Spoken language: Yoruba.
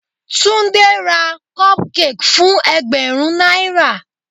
Tunde ra cupcake fún ẹgbẹ̀rún náírà.